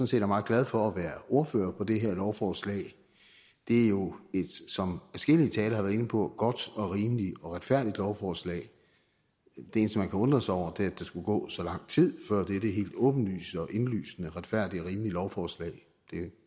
set er meget glad for at være ordfører på det her lovforslag det er jo som adskillige talere har været inde på et godt og rimeligt og retfærdigt lovforslag det eneste man kan undre sig over er at der skulle gå så lang tid før dette helt åbenlyse og indlysende retfærdige og rimelige lovforslag blev